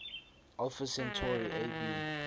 alpha centauri ab